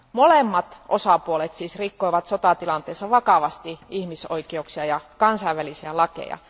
Molemmat osapuolet siis rikkoivat sotatilanteessa vakavasti ihmisoikeuksia ja kansainvälisiä lakeja.